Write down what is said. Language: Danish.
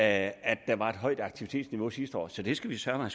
at der var et højt aktivitetsniveau sidste år så det skal vi søreme